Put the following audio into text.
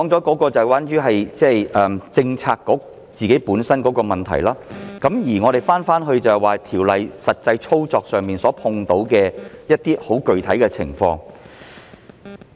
我剛才提到政策局的自身問題，現在說回《條例草案》實際操作上遇到的具體情況。